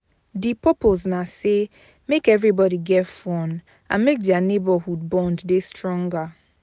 Di purpose na say make everbody get fun and make their neighborhood bond de stronger